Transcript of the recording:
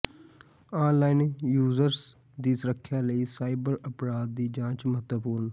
online users ਦੀ ਸੁਰੱਖਿਆ ਲਈ ਸਾਈਬਰ ਅਪਰਾਧ ਦੀ ਜਾਂਚ ਮਹੱਤਵਪੂਰਨ